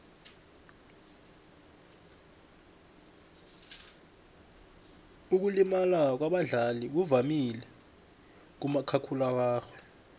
ukulimala kwabadlali kuvamile kumakhakhulararhwe